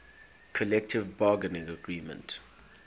collective bargaining agreement